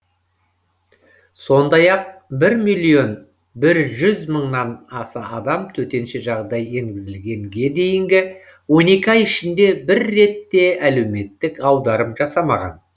сондай ақ бір миллион бір жүз мыңнан аса адам төтенше жағдай енгізілгенге дейінгі он екі ай ішінде бір рет те әлеуметтік аударым жасамаған